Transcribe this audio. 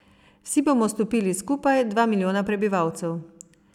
Vsi bomo stopili skupaj, dva milijona prebivalcev.